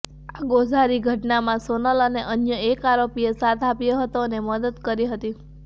આ ગોઝારી ઘટનામાં સોનલ અને અન્ય એક આરોપીએ સાથ આપ્યો હતો અને મદદ કરી હતી